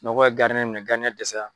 Sunɔgɔ ye gardiyɛn minɛ, gardiɲɛn dɛsɛra.